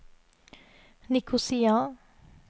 Nikosia